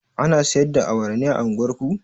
Ana siyar da awara a unguwar ku?